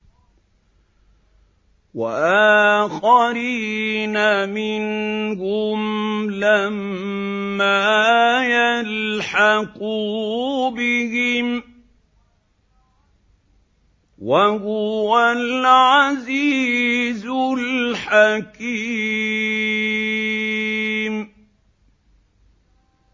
وَآخَرِينَ مِنْهُمْ لَمَّا يَلْحَقُوا بِهِمْ ۚ وَهُوَ الْعَزِيزُ الْحَكِيمُ